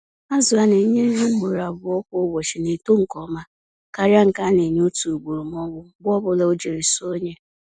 Azụ a nenye nri ugboro abụọ kwa ụbọchị na-eto nke ọma karịa nke a na-enye otu ugboro m'ọbụ mgbe ọbula ojiri sọọ onye.